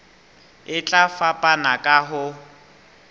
e tla fapana ka ho